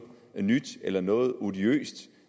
nyt eller noget odiøst